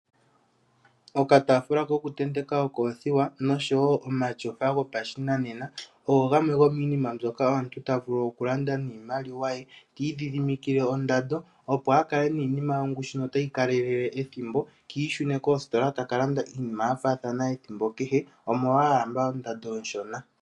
Okataafula kokutenteka okoothiwa noshowo omatyofa gopashinanena ogo gamwe gomiinima mbyoka omuntu ta vulu okulanda niimaliwa ye ti idhihdimikile ondando, opo a kale niinima yongushu notayi kalelele ethimbo ki ishune kositola ta ka landa iinima ya faathana ethimbo kehe, omolwa a lamba ondando oonshona.